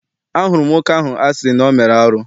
Ahụrụ m nwoke ahụ a sị na ọ mere arụ.